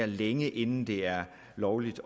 længe inden det er lovligt